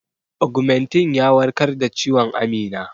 Ogmentin ya warkar da ciwon Amina.